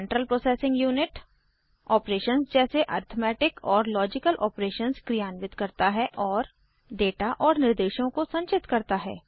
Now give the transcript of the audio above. central processing unit operations जैसे arithmetic और logical operations क्रियान्वित करता है और डेटा और निर्देशों को संचित करता है